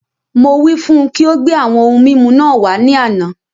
Mo wí fún ùn kí o gbé àwọn ohun mímu náà wàá ní àna